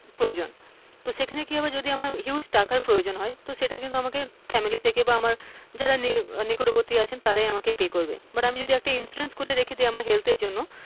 প্রয়োজন সেখানে কি হবে যদি আমার huge টাকার প্রয়োজন হয় তো সেটা কিন্তু আমাকে family থেকে বা আমার নিকটবর্তী যারা আছেন তারা আমাকে pay করবেন বা আমি যদি একটা insurance খুলে রাখি health এর জন্য,